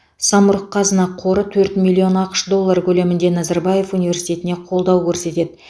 самұрық қазына қоры төрт миллион ақш доллары көлемінде назарбаев университетіне қолдау көрсетеді